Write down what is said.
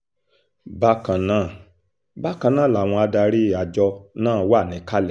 bákan náà bákan náà làwọn adarí àjọ náà wà níkàlẹ̀